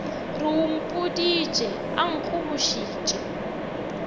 re o mpoditše a nkgobošitše